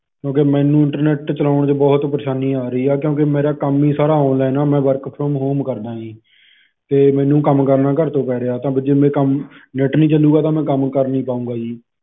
ਕਿਉਂਕਿ ਮੈਨੂੰ internet ਚਲਾਉਣ ਚ ਬਹੁਤ ਪਰੇਸ਼ਾਨੀ ਆ ਰਹੀ ਐ ਕਿਉਂਕਿ ਮੇਰਾ ਕੰਮ ਹੀ ਸਾਰਾ online ਆ ਮੈਂ work from home ਕਰਦਾ ਆ ਜੀ ਤੇ ਮੈਨੂ ਕੰਮ ਕਰਨਾ ਘਰ ਤੋਂ ਪੈ ਰਿਹਾ ਤਾਂ ਜੇ ਮੈਂ ਕੰਮ net ਨਹੀ ਚੱਲੂਗਾ ਤਾਂ ਮੈਂ ਕੰਮ ਕਰ ਨਹੀ ਪਾਊਂਗਾ ਜੀ